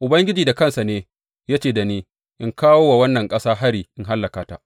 Ubangiji da kansa ne ya ce da ni in kawo wa wannan ƙasa hari in hallaka ta.’